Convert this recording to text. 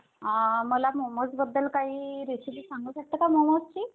अ मला मोमोज बदद्ल काही recipe सांगू शकता का madam मोमोजची?